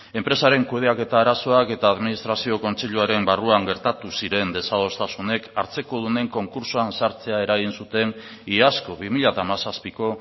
enpresaren kudeaketa arazoak eta administrazio kontseiluaren barruan gertatu ziren desadostasunek hartzekodunen konkurtsoan sartzea eragin zuten iazko bi mila hamazazpiko